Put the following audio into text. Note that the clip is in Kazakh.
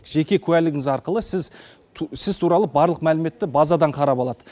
жеке куәлігіңіз арқылы сіз туралы барлық мәліметті базадан қарап алады